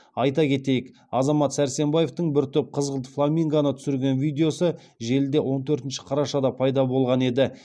айта кетейік азамат сәрсенбаевтың бір топ қызғылт фламингоны түсірген видеосы желіде он төртінші қарашада пайда болған еді